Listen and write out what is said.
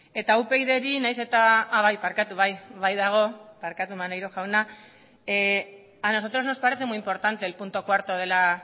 eta upyd taldeari a nosotros nos parece muy importante el punto cuatro de la